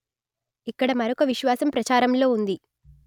ఇక్కడ మరొక విశ్వాసం ప్రచారంలో ఉంది